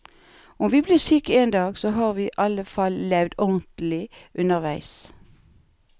Om vi blir syke en dag, så har vi i alle fall levd ordentlig underveis.